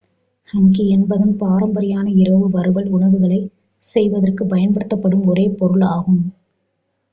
hangi என்பது பாரம்பரியமான இரவு வறுவல் உணவுகளை செய்வதற்கு பயன்படுத்தப்படும் ஒரு பொருள் ஆகும்